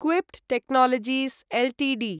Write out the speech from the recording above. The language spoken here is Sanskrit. KPIT technologies Ltd